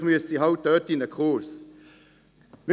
vielleicht müssten sie dafür einen Kurs besuchen.